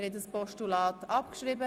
Sie haben das Postulat abgeschrieben.